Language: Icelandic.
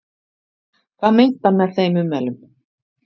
Hvað meinti hann með þeim ummælum?